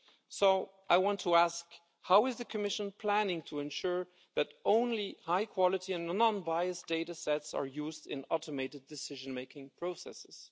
So I want to ask how is the Commission planning to ensure that only high quality and unbiased data set are used in automated decision-making processes?